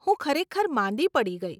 હું ખરેખર માંદી પડી ગઇ.